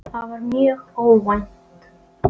Það var mjög óvænt.